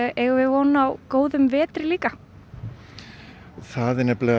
eigum við von á góðum vetri líka það